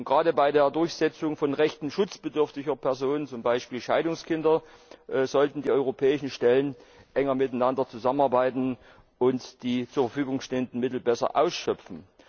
Gerade bei der Durchsetzung von Rechten schutzbedürftiger Personen, zum Beispiel Scheidungskinder, sollten die europäischen Stellen enger zusammenarbeiten und die zur Verfügung stehenden Mittel besser ausschöpfen.